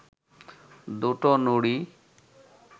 দুটো নুড়ি